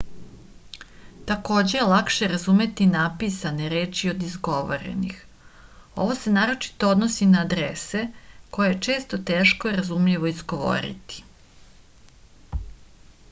takođe je lakše razumeti napisane reči od izgovorenih ovo se naročito odnosi na adrese koje je često teško razumljivo izgovoriti